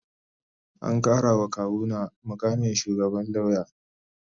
An karawa kawuna mukamin shugaban lauya